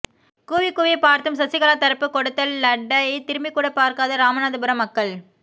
கூவிக்கூவி பார்த்தும் சசிகலா தரப்பு கொடுத்த லட்டை திரும்பிக்கூட பார்க்காத ராமநாதபுரம் மக்கள்